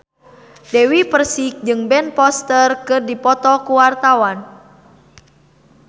Dewi Persik jeung Ben Foster keur dipoto ku wartawan